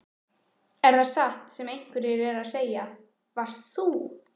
Er það satt sem einhverjir eru að segja: Varst þú.